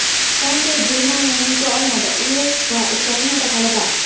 Fransiya Germaniyani yuta olmadi, Uels va Ukrainada g‘alaba.